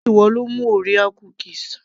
sé ìwọ lo mú orea cookies